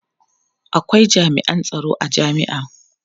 akwai jami'an tsaron a jami'a